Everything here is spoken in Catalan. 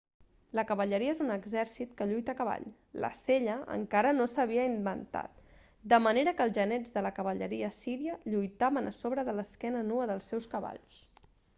la cavalleria és un exèrcit que lluita a cavall la sella encara no s'havia inventat de manera que els genets de la cavalleria assíria lluitaven a sobre de l'esquena nua dels seus cavalls